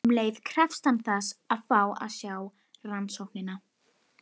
Um leið krefst hann þess að fá að sjá rannsóknina.